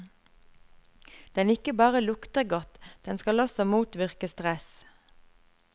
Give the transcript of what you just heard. Den ikke bare lukter godt, den skal også motvirke stress.